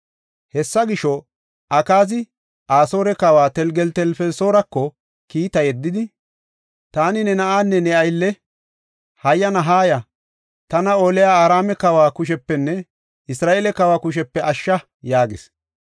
Hessa gisho, Akaazi Asoore kawa Telgeltelfelisoorako kiita yeddidi, “Taani ne na7anne ne aylle. Hayyana haaya; tana oliya Araame kawa kushepenne Isra7eele kawa kushepe ashsha” yaagis.